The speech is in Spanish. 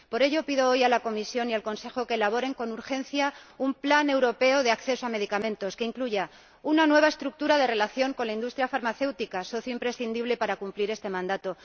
Por ello pido hoy a la Comisión y al Consejo que elaboren con urgencia un Plan europeo de acceso a los medicamentos que incluya una nueva estructura de la relación con la industria farmacéutica, socio imprescindible para cumplir este mandato